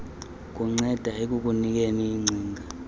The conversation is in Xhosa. kunceda ekukunikeni iingcinga